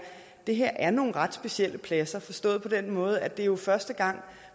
det her er nogle ret specielle pladser forstået på den måde at det jo er første gang